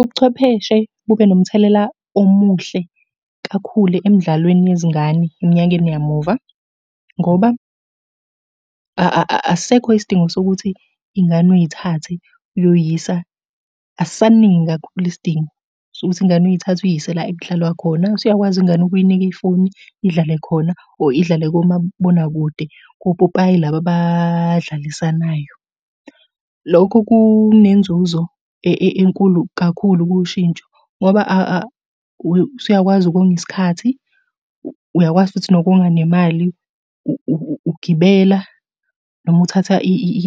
Ubuchwepheshe bube nomthelela omuhle kakhulu emdlalweni yezingane eminyakeni yamuva, ngoba asisekho isidingo sokuthi iy'ngane uyithathe uyoy'yisa, asisaningi kakhulu isidingo sokuthi ingane uyithathe uyise la ekudlalwa khona. Usuyakwazi ingane ukuyinika ifoni idlale khona or idlale komabonakude kopopayi laba abadlalisanayo. Lokho kunenzuzo enkulu kakhulu kushintsho, ngoba usuyakwazi ukonga isikhathi, uyakwazi futhi nokonga nemali, ugibela noma uthatha